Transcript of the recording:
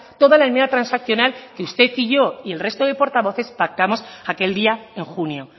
toda la enmienda transaccional que usted y yo y el resto de portavoces pactamos aquel día en junio